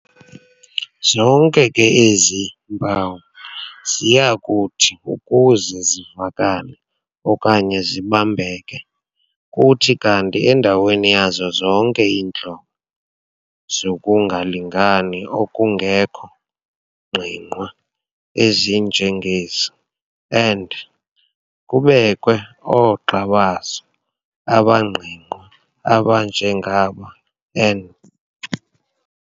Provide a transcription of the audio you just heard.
Zonke ke ezi mpawu ziyakuthi ukuze zivakale okanye zibambeke kuthi kanti endaweni yazo zonke iintlobo zokungalingani okungekho ngqingqwa ezinjengezi and kubekwe oogxa bazo abangqingqwa abanjengaba and